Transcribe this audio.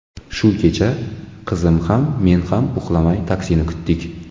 Shu kecha qizim ham, men ham uxlamay taksini kutdik.